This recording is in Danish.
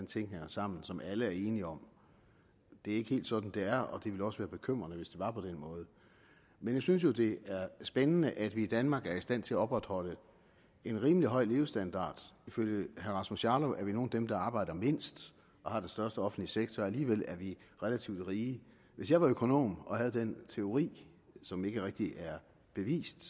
ting hænger sammen som alle er enige om det er ikke helt sådan det er og det ville også være bekymrende hvis det var på den måde men jeg synes jo at det er spændende at vi i danmark er i stand til at opretholde en rimelig høj levestandard ifølge herre rasmus jarlov er vi nogle af dem der arbejder mindst og har den største offentlige sektor og alligevel er vi relativt rige hvis jeg var økonom og havde den teori som ikke rigtig er bevist